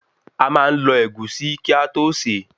A máa n lọ Ẹ̀gúsí kí a tó se